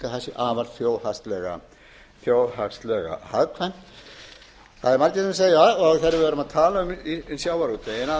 það sé þjóðhagslega hagkvæmt það eru margir sem segja þegar við erum að tala um sjávarútveginn að